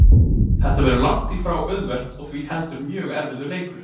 Þetta verður langt því frá auðvelt og því heldur mjög erfiður leikur.